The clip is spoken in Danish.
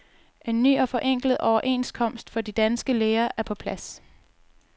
En ny og forenklet overenskomst for de danske læger er på plads.